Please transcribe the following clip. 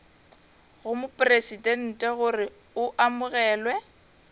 go mopresidente gore o amogelwe